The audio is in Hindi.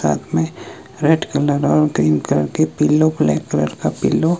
रात मे रेड कलर और ग्रीन कलर के पिल्लो ब्लैक कलर का पिल्लो --